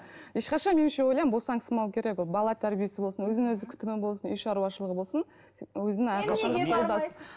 ешқашан меніңше ойлаймын босаңсымау керек ол бала тәрбиесі болсын өзін өзі күтімі болсын үй шаруашылығы болсын өзін әрқашан да